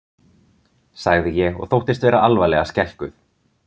sagði ég og þóttist vera alvarlega skelkuð.